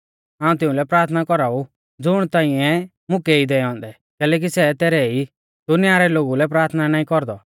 हाऊं तिउंलै प्राथना कौराऊ ज़ुण तांइऐ मुकै ई दैऔ औन्दै कैलैकि सै तैरै ई दुनिया रै लोगु लै प्राथना नाईं कौरदौ